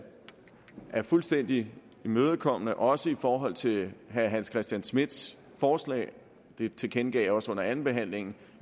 jeg fuldstændig imødekommende også i forhold til herre hans christian schmidts forslag det tilkendegav jeg også under andenbehandlingen